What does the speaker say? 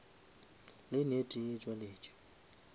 lane e tee e tšwaletše